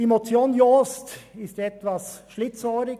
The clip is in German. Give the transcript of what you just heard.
Die Motion Jost ist etwas schlitzohrig.